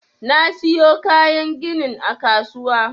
Na siyo kayan ginin a kasuwa.